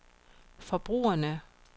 forbrugerne